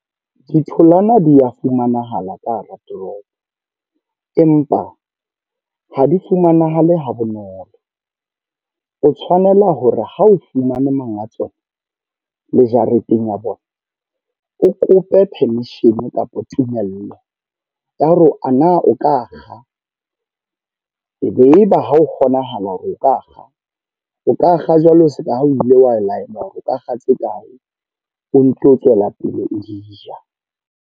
Ditholwana di a fumanahala ka hara toropo. Empa ha di fumanahale ha bonolo. O tshwanela hore ha o fumane monga tsona, le jareteng ya bona. O kope permission kapa tumello ya hore ana o ka kga. E be e ba ha o kgonahala hore o ka kga. O ka kga jwalo seka ha o ile wa laelwa hore o ka kga tse kae, o nto tswela pele o di ja.